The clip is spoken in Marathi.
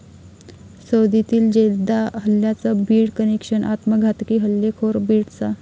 सौदीतील जेद्दा हल्ल्याचं बीड कनेक्शन, आत्मघातकी हल्लेखोर बीडचा?